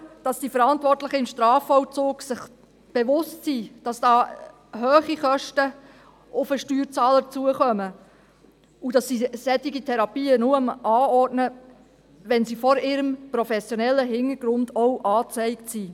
– Wir haben Vertrauen, dass sich die Verantwortlichen im Strafvollzug bewusst sind, dass dort hohe Kosten auf den Steuerzahler zukommen und dass sie solche Therapien nur anordnen, wenn sie vor ihrem professionellen Hintergrund auch angezeigt sind.